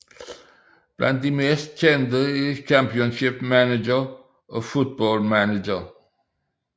Blandt de mest kendte er Championship Manager og Football Manager